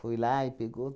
Foi lá e pegou.